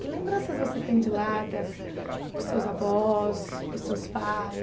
Que lembranças você tem de lá, das dos seus avós, dos seus pais?